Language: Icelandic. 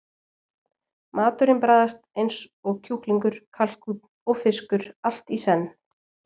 Maturinn bragðast eins og kjúklingur, kalkúnn og fiskur allt í senn.